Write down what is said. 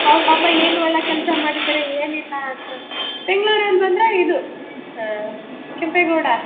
ಅವ್ರ್ ಪಾಪ ಏನ್ ಒಳ್ಳೆ ಕೆಲಸ ಮಾಡಿದರೆ ಏನ್ ಇಲ್ಲಾ ಅಂತ ಅಂದು ಬೆಂಗಳೂರಲ್ಲಿ ಬಂದ್ರೆ ಇದು ಹಮ್ ಕೆಂಪೇಗೌಡ.